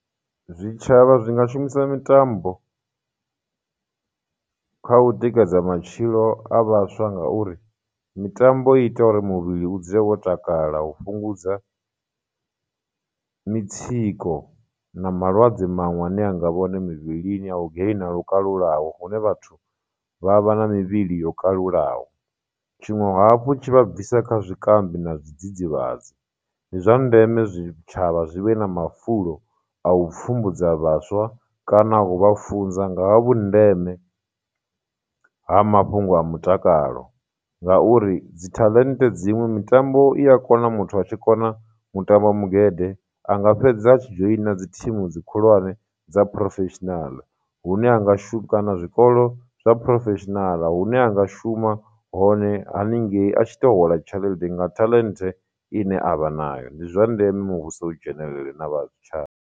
Zwitshavha zwi nga shumisa mitambo kha u tikedza matshilo a vhaswa ngauri, mitambo i ita uri muvhili u dzula wo takala, u fhungudza mitsiko, na malwadze maṅwe ane anga vha hone mivhilini a u gainer lwo kalulaho hune vhathu vha vha na mivhili yo kalulaho. Tshiṅwe hafhu tshi vha bvisa kha zwikambi na zwidzidzivhadzi, ndi zwa ndeme zwitshavha zwi vhe na mafulo a u pfhumbudza vhaswa kana ngo vha funza nga ha vhundeme ha mafhungo a mutakalo, ngauri dzi talent dziṅwe mitambo i a kona muthu a tshi kona mutambo magede, anga fhedza tshi joiner dzi team dzi khulwane dza professional, hune a nga zwikolo zwa professional hune a nga shuma hone haningei a tshi tou hola tshelede nga talent ine avha nayo. Ndi zwa ndeme muvhuso u dzhenelele na vha zwi .